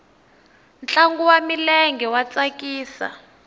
ntlangu wa milenge wa tsakisa